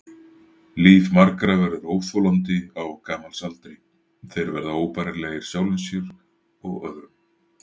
Líf margra verður óþolandi á gamals aldri, þeir verða óbærilegir sjálfum sér og öðrum.